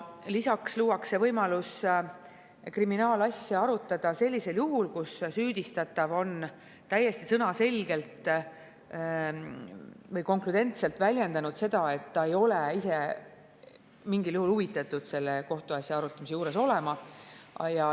Veel luuakse võimalus kriminaalasja arutada ka sellisel juhul, kui süüdistatav on täiesti sõnaselgelt, konkreetselt väljendanud seda, et ta ei ole mingil juhul huvitatud selle kohtuasja arutamise juures olema.